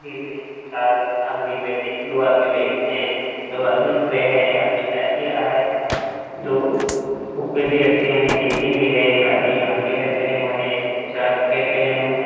Car आदमी बैठे दो आदमी बैठे हैं दो आदमी खड़े हैं एक आदमी चाय पी रहा है दो कुकपैड भी रखे हैं बिस्किट भी रखे हैं एक आदमी लाल टी-शर्ट पेहने हुए हैं कुछ आदमी में जैकेट पहने हुए है।